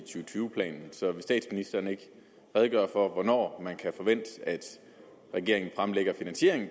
og tyve planen så vil statsministeren ikke redegøre for hvornår man kan forvente at regeringen fremlægger finansieringen